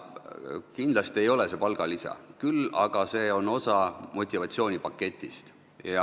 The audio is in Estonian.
Kindlasti ei ole see palgalisa, küll aga on see osa motivatsioonipaketist.